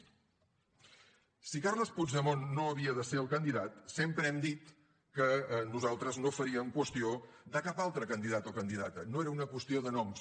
si carles puigdemont no havia de ser el candidat sempre hem dit que nosaltres no faríem qüestió de cap altre candidat o candidata no era una qüestió de noms